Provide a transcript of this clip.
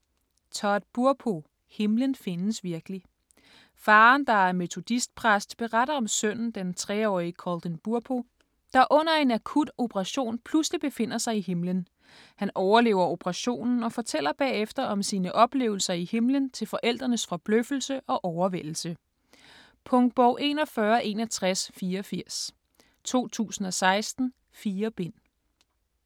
Burpo, Todd: Himlen findes virkelig Faderen, der er metodistpræst, beretter om sønnen, den 3-årige Colton Burpo, der under en akut operation pludselig befinder sig i himlen. Han overlever operationen og fortæller bagefter om sine oplevelser i himlen til forældrenes forbløffelse og overvældelse. Punktbog 416184 2016. 4 bind.